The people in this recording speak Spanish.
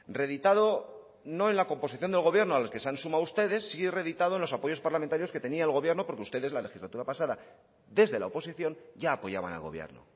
reeditado no en la composición del gobierno a los que se han sumado ustedes sí reeditado en los apoyos parlamentarios que tenía el gobierno porque ustedes en la legislatura pasada desde la oposición ya apoyaban al gobierno